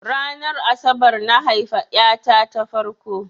Ranar asabar na haifa ƴa ta ta farko.